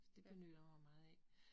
Så det benytter jeg mig meget af